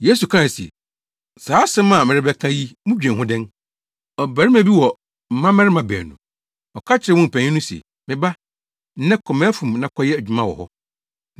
Yesu kae se, “Saa asɛm a merebɛka yi mudwen ho dɛn? Ɔbarima bi wɔ mmabarima baanu. Ɔka kyerɛɛ wɔn mu panyin no se, ‘Me ba, nnɛ kɔ mʼafum na kɔyɛ adwuma wɔ hɔ.’